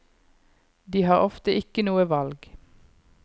De har ofte ikke noe valg.